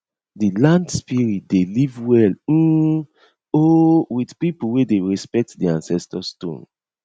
di land spirit dey live well um um with people wey dey respect di ancestor stone